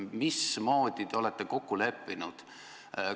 Mismoodi te olete kokku leppinud?